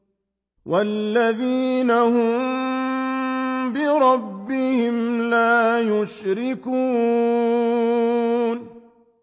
وَالَّذِينَ هُم بِرَبِّهِمْ لَا يُشْرِكُونَ